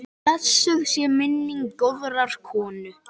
Blessuð sé minning góðrar konu.